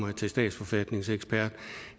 mig til statsforfatningsekspert